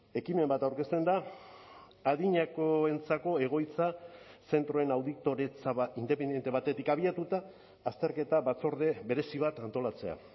ekimen bat aurkezten da adinekoentzako egoitza zentroen auditoretza independente batetik abiatuta azterketa batzorde berezi bat antolatzea